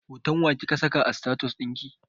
Hoton wa kika saka a status ɗinki?